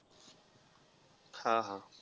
हा, हा.